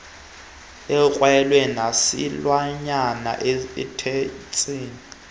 akhwele nesilwanyana eteksini